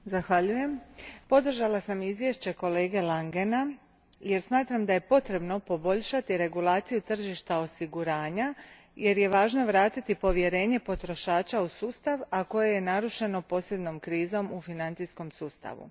Gospodine predsjedniče, podržala sam izvješće kolege Langena, jer smatram da je potrebno poboljšati regulaciju tržišta osiguranja jer je važno vratiti povjerenje potrošača u sustav, a koje je narušeno posljednjom krizom u financijskom sustavu.